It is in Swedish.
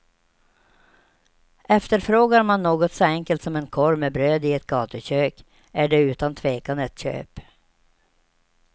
Efterfrågar man något så enkelt som en korv med bröd i ett gatukök är det utan tvekan ett köp.